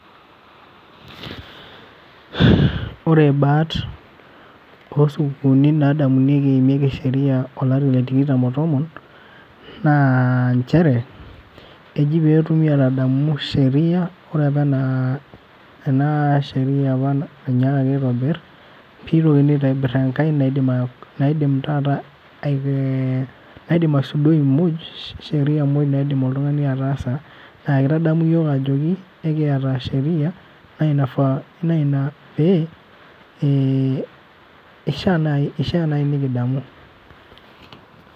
Ore baat, osupukuuni nadamunyeki eimieki sheria olari letikitam otomon, naa njere, keji petumi enadamu sheria, ore apa ena sheria apa nainyaakaki aitobir, pitokini aitobir enkae naidim taata, naidim aisudoi moj, sheria moj naidim oltung'ani ataasa, na kitadamu yiok ajoki, ekiata sheria, na ina pee, ishaa nai nikidamu.